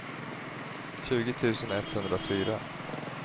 tjugo tusen etthundrafyra